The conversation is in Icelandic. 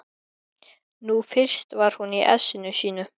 Nú fyrst var hún í essinu sínu.